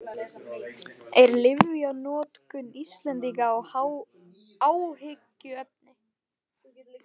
En er lyfjanotkun Íslendinga áhyggjuefni?